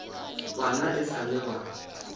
bana e sa le ba